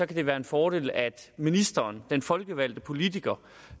det være en fordel at ministeren den folkevalgte politiker